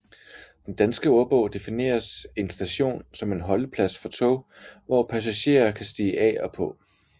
Den Danske Ordbog defineres en station som en holdeplads for tog hvor passagerer kan stige af og på